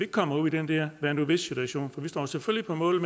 kommer ud i den her hvad nu hvis situation vi står selvfølgelig på mål